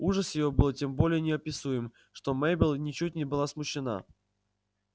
ужас её был тем более неописуем что мейбелл ничуть не была смущена